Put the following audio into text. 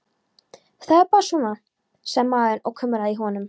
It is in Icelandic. Það er bara svona, sagði maðurinn og kumraði í honum.